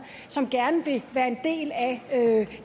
som gerne vil være en del af